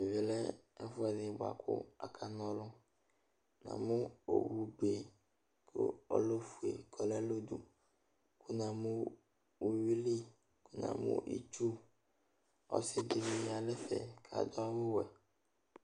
Ɛvɛ lɛ ɛfʋɛdɩ bʋa kʋ akana ɔlʋ Namʋ owube kʋ ɔlɛ ofue kʋ ɔlɛ nʋ udu kʋ namʋ uyui li, namʋ itsu Ɔsɩ dɩ bɩ ya nʋ ɛfɛ kʋ adʋ awʋwɛ